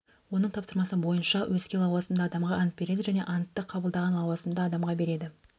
оның тапсырмасы бойынша өзге лауазымды адамға ант береді және антты қабылдаған лауазымды адамға береді